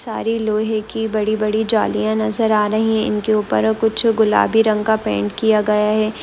सारी लोहे की बड़ी-बड़ी जालियां नजर आ रही है इनके ऊपर कुछ गुलाबी रंग का पेंट किया गया है।